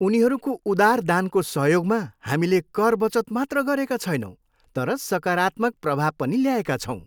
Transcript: उनीहरूको उदार दानको सहयोगमा हामीले कर बचत मात्र गरेका छैनौँ तर सकारात्मक प्रभाव पनि ल्याएका छौँ!